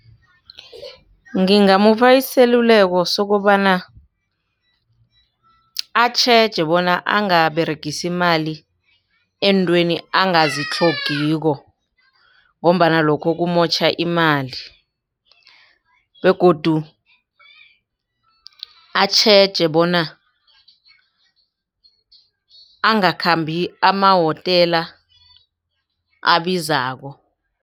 Ngingamupha iseluleko sokobana atjheje bona angaberegisa imali eentweni angazitlhogiko. Ngombana lokho kumotjha imali begodu atjheje bona angakhambi amahotela abizako.